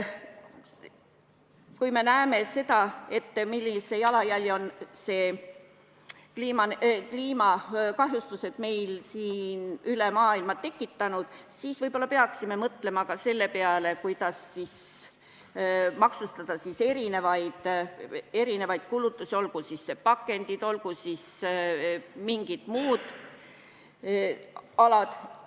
Kui me näeme, millise jalajälje on kliimakahjustused üle maailma tekitanud, siis võib-olla peaksime mõtlema ka selle peale, kuidas maksustada erinevaid kulutusi, olgu siis pakendid või mingid muud alad.